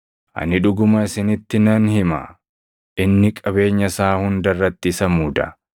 Ani dhuguma isinitti nan hima; inni qabeenya isaa hunda irratti isa muuda.